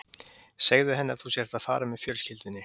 Segðu henni að þú sért að fara með fjölskyldunni